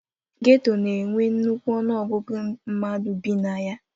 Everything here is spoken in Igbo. Geto na-enwe nnukwu ọnụọgụgụ mmadụ bi na ya.